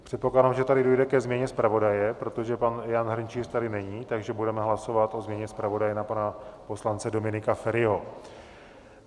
Předpokládám, že tady dojde ke změně zpravodaje, protože pan Jan Hrnčíř tady není, takže budeme hlasovat o změně zpravodaje na pana poslance Dominika Feriho.